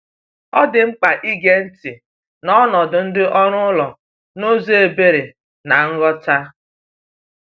Ọ dị mkpa ige ntị n’ọnọdụ ndị ọrụ ụlọ n’ụzọ ebere na nghọta.